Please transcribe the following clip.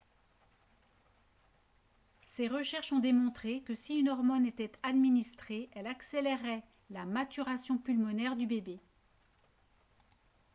ses recherches ont démontré que si une hormone était administrée elle accélérerait la maturation pulmonaire du bébé